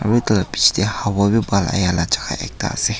aru tah lah picche teh hawa bhi bhal ahila jaga ekta ase.